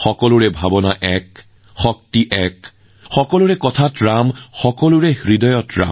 সকলোৰে অনুভৱ একে সকলোৰে ভক্তি একে ৰাম সকলোৰে কথাত ৰাম সকলোৰে হৃদয়ত